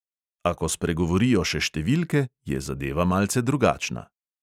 A ko spregovorijo še številke, je zadeva malce drugačna.